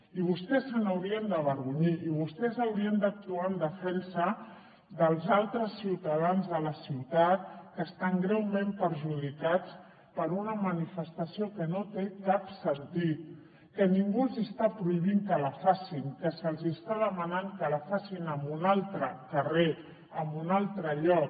i vostès se n’haurien d’avergonyir i vostès haurien d’actuar en defensa dels altres ciutadans de la ciutat que estan greument perjudicats per una manifestació que no té cap sentit que ningú els hi està prohibint que la facin que se’ls està demanant que la facin en un altre carrer en un altre lloc